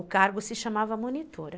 O cargo se chamava monitora.